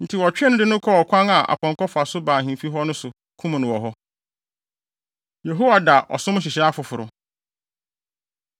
Enti wɔtwee no de no kɔɔ ɔkwan a apɔnkɔ fa so ba ahemfi hɔ no so, kum no wɔ hɔ. Yehoida Ɔsom Nhyehyɛe Foforo